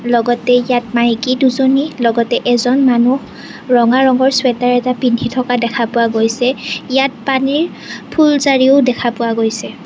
লগতে ইয়াত মাইকী দুজনী লগতে এজন মানুহ ৰঙা ৰঙৰ ছুৱেটাৰ এটা পিন্ধি থকা দেখা পোৱা গৈছে ইয়াত পানীৰ ফুলজাৰিও দেখা পোৱা গৈছে।